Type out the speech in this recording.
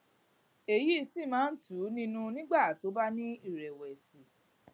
èyí sì máa ń tù ú nínú nígbà tó bá ní ìrẹwẹsì